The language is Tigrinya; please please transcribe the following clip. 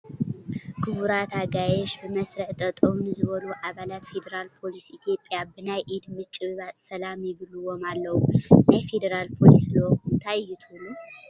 ክቡራት ኣጋይሽ ብመስርዕ ጠጠው ንዝበሉ ኣባላት ፊደራል ፖሊስ ኢትዮጵያ ብናይ ኢድ ምጭብባጥ ሰላም ይብልዎም ኣለዉ፡፡ ናይ ፌደራል ፖሊስ ልኡኽ እንታ እዩ ትብሉ?